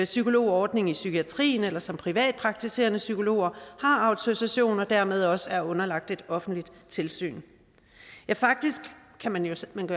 psykologordning i psykiatrien eller som privatpraktiserende psykologer har autorisation og dermed også er underlagt et offentligt tilsyn faktisk kan man jo